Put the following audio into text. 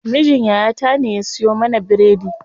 Mijin yaya ta ne ya siyo mana biredi.